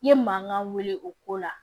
I ye mankan wuli o ko la